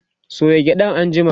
soya gyaɗan anjima!